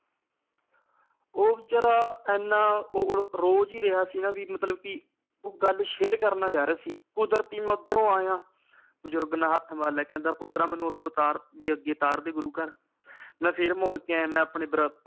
ਉਹ ਵਿਚਾਰਾਂ ਇਹਨਾਂ ਜਾ ਰਹਿਆ ਸੀ ਨਾ ਵੀ ਮਤਲਬ ਕੇ ਉਹ ਗੱਲ ਕਰਨਾ ਚਾ ਰਹਿਆ ਸੀ ਕੁਦਰਤੀ ਮੈ ਓਧਰੋਂ ਆਇਆ ਬਜ਼ੁਰਗ ਨੇ ਹੱਥ ਮਾਰ ਲਇਆ ਕਹਿੰਦਾ ਪੁੱਤਰਾਂ ਮੈਨੂੰ ਤਾਰ ਓਥੇ ਅੱਗੇ ਉਤਾਰਦੀ ਗੁਰੂ ਘਰ ਮੈਂ ਫਿਰ ਮੁੜ ਕੇ ਆਇਆ ਮੈਂ ਆਪਣੇ l